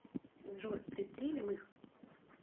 джой пристрелим их